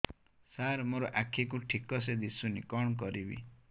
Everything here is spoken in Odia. ସାର ମୋର ଆଖି କୁ ଠିକସେ ଦିଶୁନି କଣ କରିବି